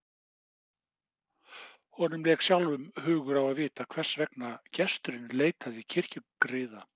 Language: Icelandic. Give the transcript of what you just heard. Honum lék sjálfum hugur á að vita hvers vegna gesturinn leitaði kirkjugriða.